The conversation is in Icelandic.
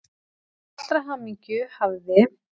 Til allrar hamingju hafði